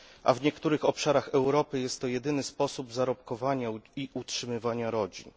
W niektórych obszarach Europy jest to jedyny sposób zarobkowania i utrzymywania rodzin.